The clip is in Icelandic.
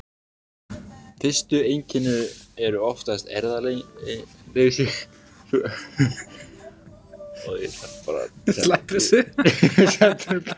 Fyrstu einkenni eru oftast eirðarleysi, önuglyndi og svefntruflanir.